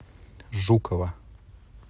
жукова